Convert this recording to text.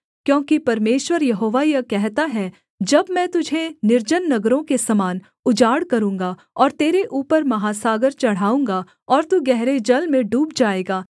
क्योंकि परमेश्वर यहोवा यह कहता है जब मैं तुझे निर्जन नगरों के समान उजाड़ करूँगा और तेरे ऊपर महासागर चढ़ाऊँगा और तू गहरे जल में डूब जाएगा